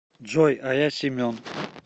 джой а я семен